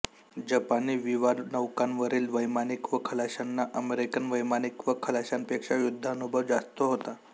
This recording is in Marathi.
जपानी विवानौकांवरील वैमानिक व खलाशांना अमेरिकन वैमानिक व खलाशांपेक्षा युद्धानुभव जास्त होता